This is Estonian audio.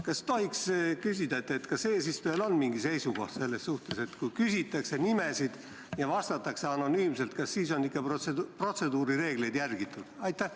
Kas tohiks küsida, on eesistujal mingi seisukoht selles suhtes, et kui küsitakse nimesid ja vastatakse anonüümselt, kas siis on ikka protseduurireegleid järgitud?